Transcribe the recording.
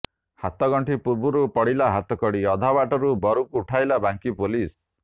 ହାତଗଣ୍ଠି ପୂର୍ବରୁ ପଡ଼ିଲା ହାତକଡ଼ି ଅଧାବାଟରୁ ବରକୁ ଉଠାଇଲା ବାଙ୍କୀ ପୋଲିସ